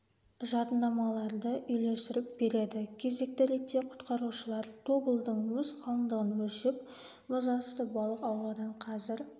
жадынамаларды үйлестіріп береді кезекті ретте құтқарушылар тобылдың мұз қалындығын өлшеп мұз асты балық аулаудан қазір